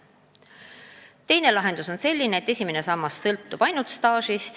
Teine võimalus on, et esimene sammas sõltub ainult tööstaažist.